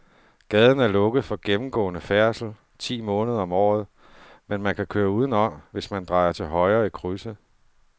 Gaden er lukket for gennemgående færdsel ti måneder om året, men man kan køre udenom, hvis man drejer til højre i krydset.